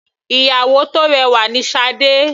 Ìyàwó tó rẹwà ni Sade.